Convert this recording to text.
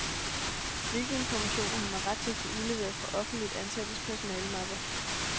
Hvilke informationer har man ret til at få udleveret fra offentligt ansattes personalemapper?